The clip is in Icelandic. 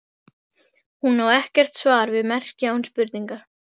Hún á ekkert svar við merki án spurningar.